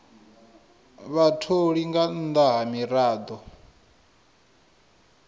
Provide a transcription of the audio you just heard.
vhatholi nga nnḓa ha miraḓo